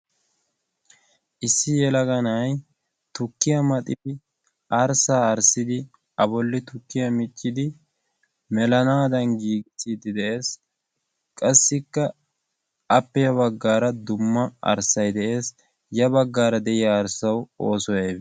Issi yelaga na'ay tukkiya maxidi arssaa arssidi a bolli tukkiyaa miccidi melanaadan giigissiidi de'ees. qassikka appeya baggaara dumma arssay de'ees. ya baggaara de'iya arssawu oosoy aybe?